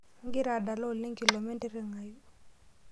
Igira adala oleng kilome ntiring'ayu